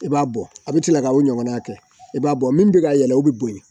I b'a bɔ a bɛ tila ka o ɲɔgɔnna kɛ i b'a bɔ min bɛ ka yɛlɛ o bɛ bonya